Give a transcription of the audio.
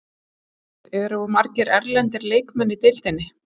Álitið: Eru of margir erlendir leikmenn í deildinni?